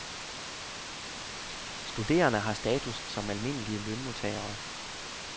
Studerende har status som almindelige lønmodtagere.